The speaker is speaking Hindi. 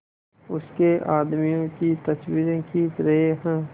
उसके आदमियों की तस्वीरें खींच रहे हैं